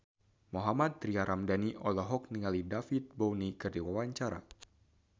Mohammad Tria Ramadhani olohok ningali David Bowie keur diwawancara